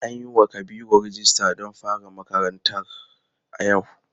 An yiwa Kabiru rijista don fara makaranta a yau.